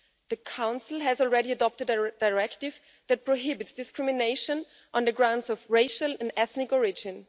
The Council has already adopted a directive that prohibits discrimination on grounds of racial or ethnic origin.